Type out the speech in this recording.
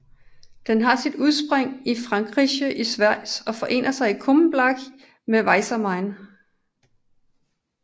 Den har sit udspring i Fränkische Schweiz og forener sig i Kulmbach med Weißer Main